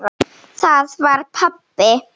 Það var pabbi!